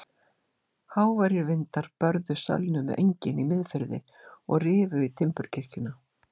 Háværir vindar börðu sölnuð engin í Miðfirði og rifu í timburkirkjuna.